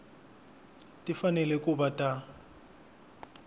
ti fanele ku va ta